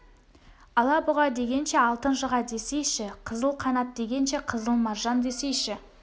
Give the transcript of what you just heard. ала бұға дегенше алтын жыға десейші қызыл қанат дегенше қызыл маржан десейші